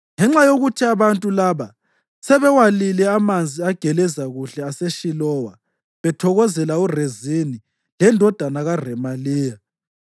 “Ngenxa yokuthi abantu laba sebewalile amanzi ageleza kuhle aseShilowa bethokozela uRezini lendodana kaRemaliya,